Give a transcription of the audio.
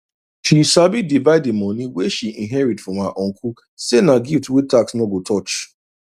she sabi divide the money wey she inherit from her uncle say na gift wey tax no go touch